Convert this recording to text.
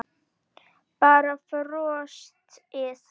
Bara brosti.